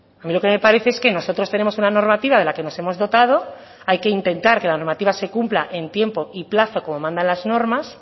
a mí lo que me parece es que nosotros tenemos una normativa de la que nos hemos dotado hay que intentar que la normativa se cumpla en tiempo y plazo como mandan las normas